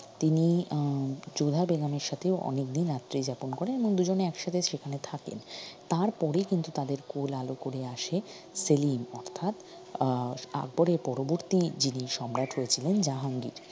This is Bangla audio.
তিনি আহ যোধা বেগমের সাথে অনেকদিন রাত্রি যাপন করেন এবং দুজনে একসাথে সেখানে থাকেন তার পরে কিন্তু তাদের কোল আলো করে আসে সেলিম অর্থাৎ আহ আকবরের পরবর্তি যিনি সম্রাট হয়েছিলেন জাহাঙ্গীর